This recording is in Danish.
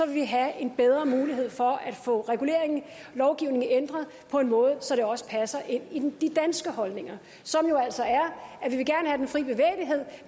vi have en bedre mulighed for at få reguleringen lovgivningen ændret på en måde så det også passer ind i de danske holdninger som jo altså er